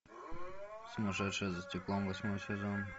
сумасшедшая за стеклом восьмой сезон